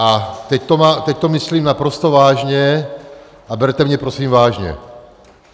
A teď to myslím naprosto vážně a berte mě prosím vážně.